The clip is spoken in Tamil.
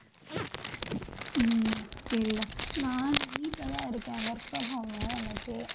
உம் சரிடா நான் வீட்ல தான் இருக்கேன் work from home உ இன்னைக்கு